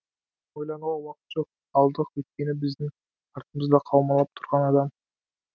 ойлануға уақыт жоқ алдық өйткені біздің артымызда қаумалап тұрған адам